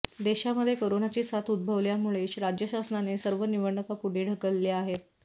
देशामध्ये करोनाची साथ उद्भवल्यामुळे राज्यशासनाने सर्व निवडणुका पुढे ढकलल्या आहेत